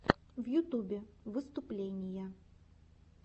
в ютубе выступления